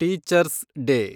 teachers day